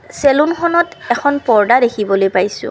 চেলুনখনত এখন পৰ্দা দেখিবলৈ পাইছোঁ।